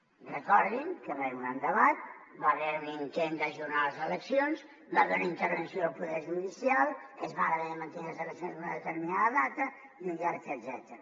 recordin que hi va haver un gran debat hi va haver un intent d’ajornar les eleccions hi va haver una intervenció del poder judicial es van haver de mantenir les eleccions en una determinada data i un llarg etcètera